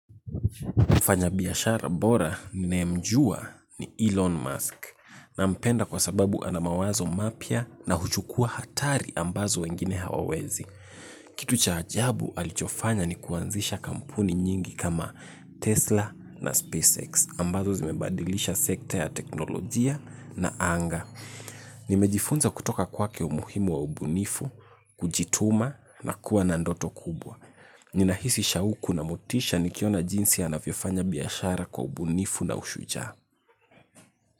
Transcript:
Mfanya biashara bora ninayemjua ni Elon Musk nampenda kwa sababu ana mawazo mapya na huchukuwa hatari ambazo wengine hawawezi. Kitu cha ajabu alichofanya ni kuanzisha kampuni nyingi kama Tesla na SpaceX ambazo zimebadilisha sekta ya teknolojia na anga. Nimejifunza kutoka kwake umuhimu wa ubunifu, kujituma na kuwa na ndoto kubwa. Ninahisi shauku na motisha nikiona jinsi anavyofanya biashara kwa ubunifu na ushujaa.